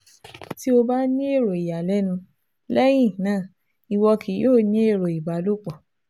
Ti o ba ni ero iyalẹnu, lẹhinna iwọ kii yoo ni ero ìbálòpọ̀